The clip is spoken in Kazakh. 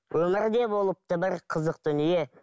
өмірде болыпты бір қызық дүние